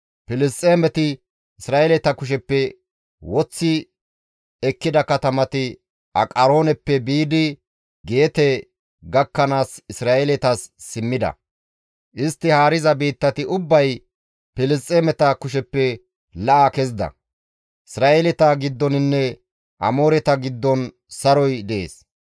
Filisxeemeti Isra7eeleta kusheppe woththi ekkida katamati Aqarooneppe biidi Geete gakkanaas Isra7eeletas simmida; istti haariza biittati ubbay Filisxeemeta kusheppe la7a kezida; Isra7eeleta giddoninne Amooreta giddon saroy dees.